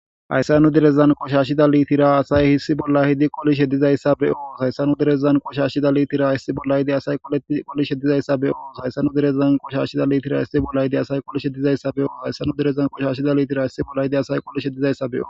Hayssanu direzan qoshashida litira asay hissi bolla hidi qolish he dizayssa beos hayssanu direzan qoshashida liitira haissi bollaydi asay qolish hedizayssa beyos hayssanu direzan qoshashida liitira hissi bollayidi asay qolish he dizayssa be'o hayssanu direzan qoshashida litira hissi bollayide asay qolish he dizayssa beo..